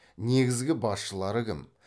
негізгі басшылары кім